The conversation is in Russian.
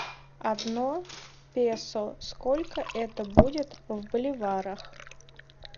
одно песо сколько это будет в боливарах